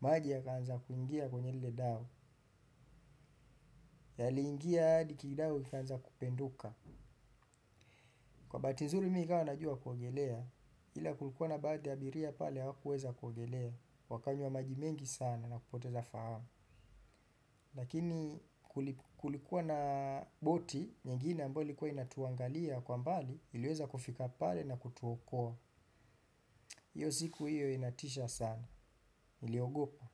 Maji yakaanza kuingia kwenye lile dau. Yaliingia hadi kidau kikaanza kupenduka. Kwa bahati nzuri mimi ikawa najua kuogelea. Ila kulikuwa na baadhi abiria pale wakuweza kuogelea. Wakanywa majimengi sana na kupoteza fahamu. Lakini kulikuwa na boti, nyengine ambao ilikuwa inatuangalia kwa mbali, iliweza kufika pale na kutuokua. Iyo siku iyo inatisha sana. Niliogopa.